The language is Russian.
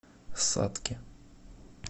сатке